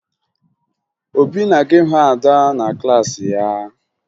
Obi na-aga ịhụ Ada na klaasị ya